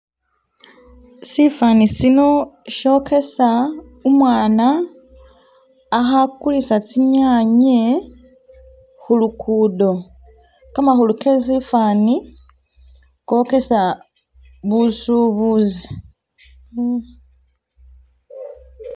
Sifani'sino shokesa umwana akhakulisa tsinyanye khulukuddo. Kamakhulu kesifani kokesa busubusi